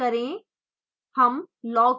type ls करें